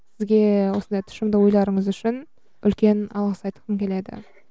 сізге осындай тұшымды ойларыңыз үшін үлкен алғыс айтқым келеді